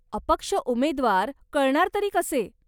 अपक्ष उमेद्वार कळणार तरी कसे?